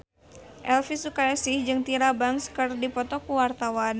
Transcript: Elvy Sukaesih jeung Tyra Banks keur dipoto ku wartawan